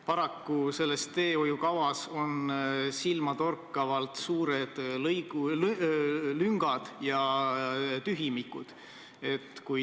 Paraku on selles teehoiukavas silmatorkavalt suured lüngad ja tühimikud.